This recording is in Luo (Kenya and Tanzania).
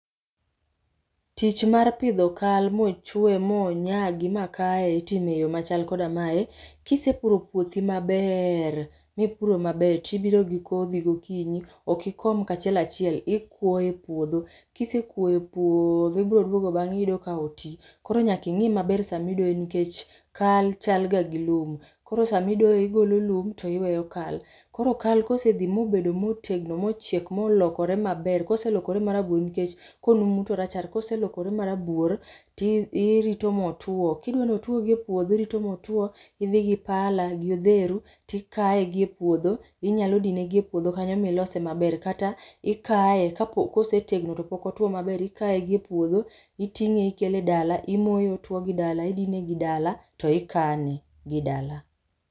Tich mar pidho kal mochwe monyagi makaye itimo e yoo machal koda mae. Kisepuro puotho mabe mipuro maber tibiro gi kodhi gokinyi, ok ikom kachiel achiel ikuoyo e puodho ,kisekuoyo e puodho ibro duogo bange iyudo ka otii. Koro nyaka ingi maber sama idoyo nikech kal chal ga gi lum, koro sama idoyo igolo lum tiweyo kal. Koro kal kosedhi mobedo motegno mochiek molokore maber, koselokore marabuor nikech konumu to orachar, koselokore marabuor ti irito motuo. Kidwani otuo gi e puodho irito motuo, idhi gi pala gi odheru tikaye gi e puodho, inyalo dine gi e puodho kanyo milose maber kata ikaye kosetegno to pok otuo maber, ikae gi e puodho, itinge ikele dala imoye otuo gi dala, idine gi dala to ikane gi dala